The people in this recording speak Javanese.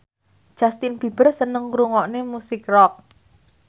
Justin Beiber seneng ngrungokne musik rock